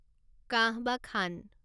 কাঁহ বা খান